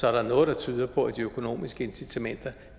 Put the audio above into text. er der noget der tyder på at de økonomiske incitamenter